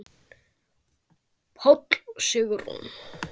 Páll og Sigrún.